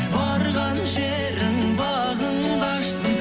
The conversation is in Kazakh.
барған жерің бағыңды ашсын